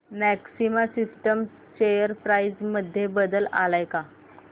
maxima Systems share price मध्ये बदल आलाय का